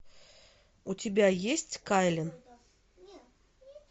у тебя есть кайлин